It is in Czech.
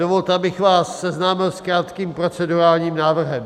Dovolte, abych vás seznámil s krátkým procedurálním návrhem.